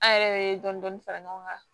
An yɛrɛ bɛ dɔni dɔni fara ɲɔgɔn kan